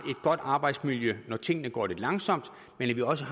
godt arbejdsmiljø når tingene går lidt langsomt men at vi også